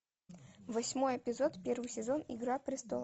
восьмой эпизод первый сезон игра престолов